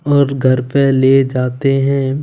और घर पे ले जाते हैं।